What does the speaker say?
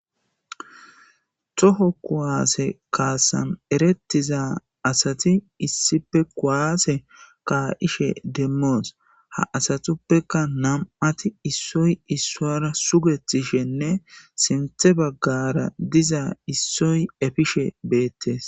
toho kuwaase kaasan erettiza asati issife kuwaase kaa7ishe demmoos ha asatuppeka nam7ati issoy issora sugetishenne sinthe baggara diza issoy efishe beettes